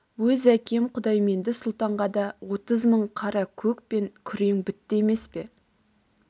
өз әкем құдайменді сұлтанға да отыз мың қара көк пен күрең бітті емес пе